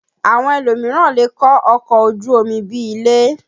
Àwọn elòmíràn lè kọ́ ọkọ̀ ojú omi bí i ilé